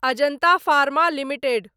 Ajanta pharma limited